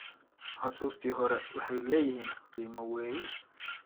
Xusuustii hore waxay leeyihiin qiimo weyn.